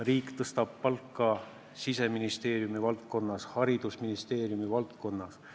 Riik tõstab palkasid Siseministeeriumi ja haridusministeeriumi valdkonnas.